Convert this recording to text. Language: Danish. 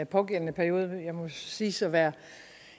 pågældende periode jeg må siges at være